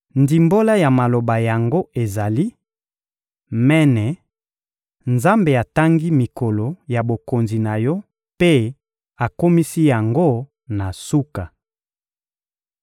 Ndimbola ya maloba yango ezali: Mene: Nzambe atangi mikolo ya bokonzi na yo mpe akomisi yango na suka;